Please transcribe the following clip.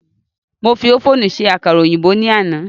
Mo fi ófùnù se àkàrà òyìnbó ní àná